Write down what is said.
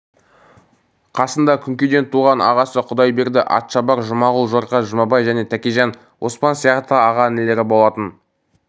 қасында күнкеден туған ағасы құдайберді атшабар жұмағұл жорға жұмабай және тәкежан оспан сияқты аға-інілері болатын